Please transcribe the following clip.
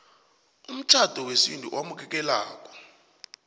umtjhado wesintu owamukelekako